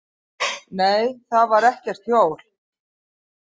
Nei, þar var ekkert hjól.